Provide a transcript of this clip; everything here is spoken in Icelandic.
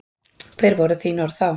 Hver voru orð þín þá?